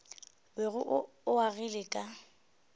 bego o o agile ka